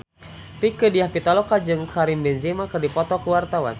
Rieke Diah Pitaloka jeung Karim Benzema keur dipoto ku wartawan